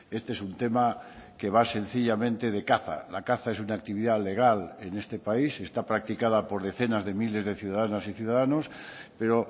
este es un tema que va sencillamente de caza la caza es una actividad legal en este país está practicada por decenas de miles de ciudadanas y ciudadanos pero